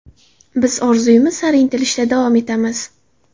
Biz orzuyimiz sari intilishda davom etamiz.